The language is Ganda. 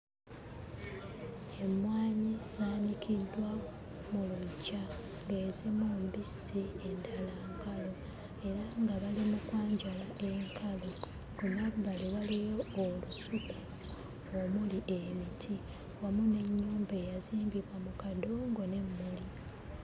Emmwanyi zaanikiddwa mu luggya ng'ezimu mbisi, endala nkalu era nga bali mu kwanjala enkalu. Ku mabbali waliyo olusuku omuli emiti wamu n'ennyumba eyazimbibwa mu kadongo n'emmuli.